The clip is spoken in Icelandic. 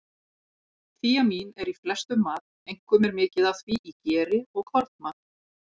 Þíamín er í flestum mat, einkum er mikið af því í geri og kornmat.